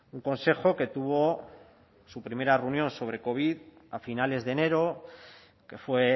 un consejo que tuvo su primera reunión sobre covid a finales de enero que fue